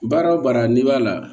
Baara o baara n'i b'a la